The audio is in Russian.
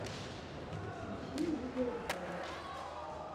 ищи видеообзоры